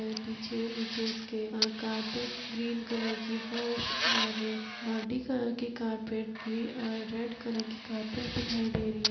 में पीछे नीचे में उसके अ कारपेट ग्रीन कलर की फर्श और मल्टी कलर के कारपेट ग्री अ रेड कलर की कारपेट दिखाई दे रही है।